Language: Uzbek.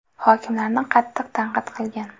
Hokimlarni qattiq tanqid qilgan.